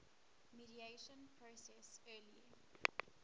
mediation process early